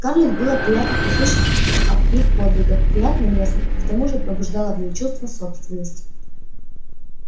скарлетт было приятно услышать об их подвигах приятно лестно и к тому же пробуждало в ней чувство собственности